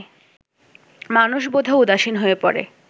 মানুষ বোধহয় উদাসীন হয়ে পড়ে